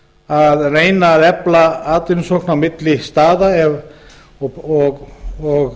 að reyna að efla atvinnusókn á milli staða og